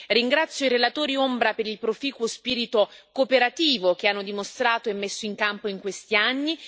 Ringrazio i relatori ombra per il proficuo spirito cooperativo che hanno dimostrato e messo in campo in questi anni.